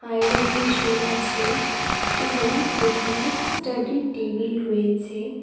Iron machine আছে এবং দোকানে স্টাডি টেবিল রয়েছে।